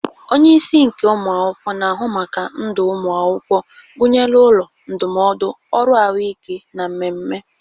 Onye isi nke ụmụ akwụkwọ na-ahụ maka ndụ ụmụ akwụkwọ, gụnyere ụlọ, ndụmọdụ, ọrụ ahụike, na mmemme.